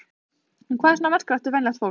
En hvað er svona merkilegt við venjulegt fólk?